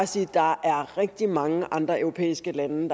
sige at der er rigtig mange andre europæiske lande